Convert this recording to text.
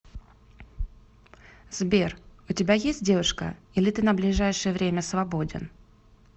сбер у тебя есть девушка или ты на ближайшее время свободен